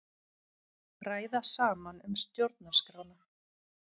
Ræða saman um stjórnarskrána